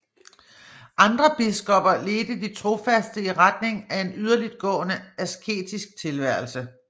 Andre biskopper ledte de trofaste i retning af en yderligtgående asketisk tilværelse